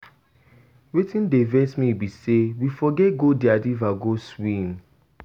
Wetin dey vex me be say we forget go their river go swim.